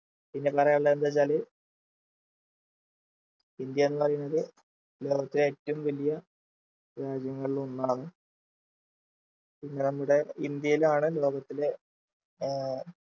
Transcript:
പിന്നെ പറയാനുള്ളത് എന്തുവെച്ചാല് ഇന്ത്യ എന്ന് പറയുന്നത് ലോകത്തിലെ ഏറ്റവും വലിയ രാജ്യങ്ങളിലൊന്നാണ് പിന്നെ നമ്മുടെ ഇന്ത്യയിലാണ് ലോകത്തിലെ ഏർ